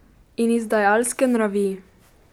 In izdajalske nravi.